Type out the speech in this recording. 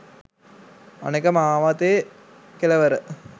අනෙක මාවතේ කෙළවර